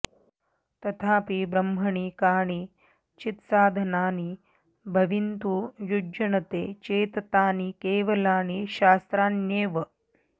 तथापि ब्रह्मणि कानि चित्साधनानि भविंतु युज्यनते चेत् तानि केवलानि शास्त्राण्येव